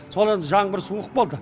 сол енді жаңбыр суық болды